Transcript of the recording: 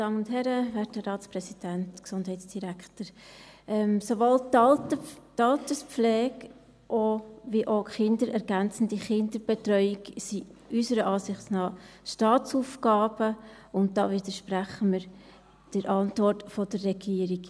Sowohl die Alterspflege als auch die ergänzende Kinderbetreuung sind unserer Ansicht nach Staatsaufgaben, und da widersprechen wir der Antwort der Regierung.